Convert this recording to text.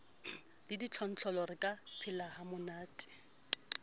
le ditlontlollo re ka phelahamonate